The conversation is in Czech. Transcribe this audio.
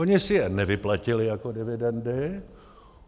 Oni si je nevyplatili jako dividendy.